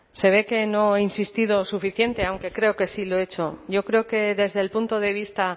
se ve que no he insistido suficiente aunque creo que sí lo he hecho yo creo que desde el punto de vista